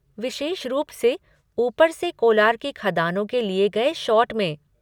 विशेष रूप से ऊपर से कोलार की खदानों के लिए गए शॉट में।